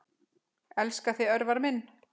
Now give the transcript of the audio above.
Elska þig, Örvar minn.